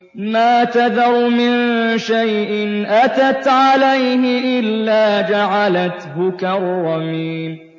مَا تَذَرُ مِن شَيْءٍ أَتَتْ عَلَيْهِ إِلَّا جَعَلَتْهُ كَالرَّمِيمِ